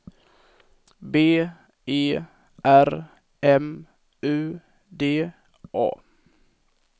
B E R M U D A